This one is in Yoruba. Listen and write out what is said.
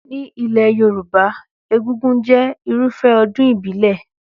Ní ilé Yorùbá, egúngún jẹ́ Irúfẹ́ ọdún ìbílẹ̀